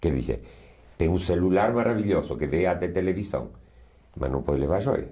Quer dizer, tem um celular maravilhoso que vê até televisão, mas não pode levar joia.